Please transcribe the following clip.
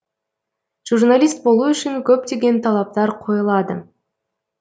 журналист болу үшін көптеген талаптар қойылады